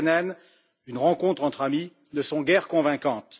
Katainen une rencontre entre amis ne sont guère convaincantes.